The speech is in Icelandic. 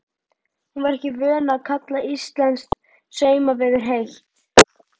Hún var ekki vön að kalla íslenskt sumarveður heitt.